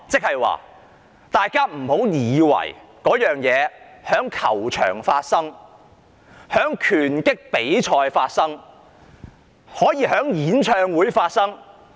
大家不要以為這情況只會在球場和拳擊比賽中發生，可以在演唱會中發生。